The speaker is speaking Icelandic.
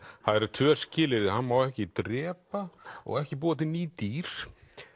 það eru tvö skilyrði hann má ekki drepa og ekki búa til ný dýr